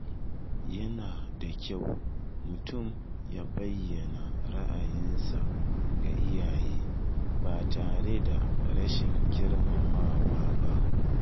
Yana da kyau mutum ya bayyana ra’ayinsa ga iyaye ba tare da rashin girmamawa ba.